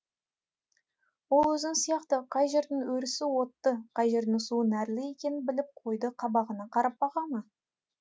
ол өзің сияқты қай жердің өрісі отты қай жердің суы нәрлі екенін біліп қойды қабағына қарап баға ма